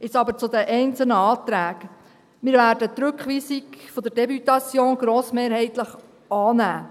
Jetzt aber zu den einzelnen Anträgen: Wir werden die Rückweisung der Députation grossmehrheitlich annehmen.